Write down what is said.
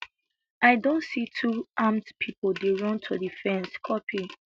i don see two armed pipo dey run to di fence copy